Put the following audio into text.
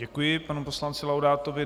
Děkuji panu poslanci Laudátovi.